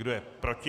Kdo je proti?